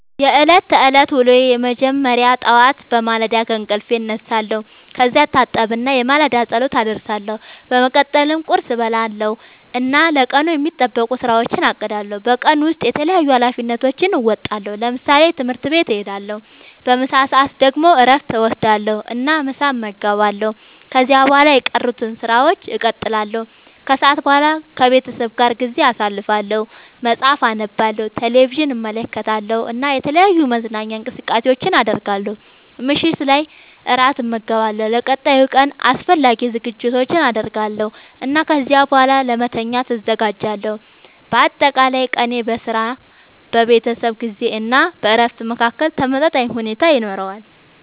የዕለት ተዕለት ዉሎየ መጀመሪያ ጠዋት በማለዳ ከእንቅልፌ እነሳለሁ። ከዚያ እታጠብና የማለዳ ጸሎት አደርሳለሁ። በመቀጠልም ቁርስ እበላለሁ እና ለቀኑ የሚጠበቁ ሥራዎቼን አቅዳለሁ። በቀን ውስጥ የተለያዩ ኃላፊነቶቼን እወጣለሁ። ለምሳሌ፦ ትምህርት ቤት እሄዳለሁ። በምሳ ሰዓት ደግሞ እረፍት እወስዳለሁ እና ምሳ እመገባለሁ። ከዚያ በኋላ የቀሩትን ሥራዎች እቀጥላለሁ። ከሰዓት በኋላ ከቤተሰቤ ጋር ጊዜ አሳልፋለሁ፣ መጽሐፍ አነባለሁ፣ ቴሌቪዥን እመለከታለሁ እና የተለያዩ መዝናኛ እንቅስቃሴዎችን አደርጋለሁ። ምሽት ላይ እራት እመገባለሁ፣ ለቀጣዩ ቀን አስፈላጊ ዝግጅቶችን አደርጋለሁ እና ከዚያ በኋላ ለመተኛት እዘጋጃለሁ። በአጠቃላይ ቀኔ በሥራ፣ በቤተሰብ ጊዜ እና በእረፍት መካከል ተመጣጣኝ ሁኔታ ይኖረዋል።